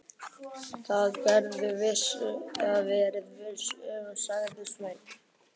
Það geturðu verið viss um, sagði Sveinn.